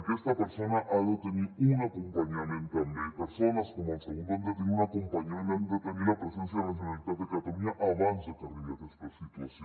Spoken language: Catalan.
aquesta persona ha de tenir un acompanyament també persones com el segundo han de tenir un acompanyament han de tenir la presència de la generalitat de catalunya abans de que arribi a aquesta situació